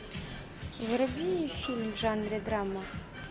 вруби фильм в жанре драма